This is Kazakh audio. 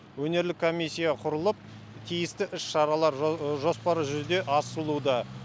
өнерлік комиссия құрылып тиісті іс шаралар жоспары жүзеге асырылуда